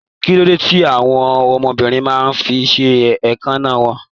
Kilode tí àwọn ọmọbìnrin máa n fí ṣe èékánná wọn?